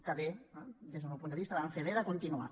que bé des del meu punt de vista van fer bé de continuar